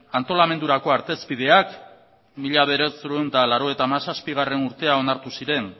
antolamendurako artezpediak mila bederatziehun eta laurogeita hamazazpigarrena urtean onartu ziren